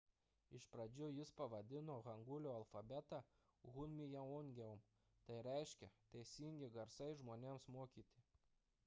iš pradžių jis pavadino hangulio alfabetą hunminjeongeum tai reiškia teisingi garsai žmonėms mokyti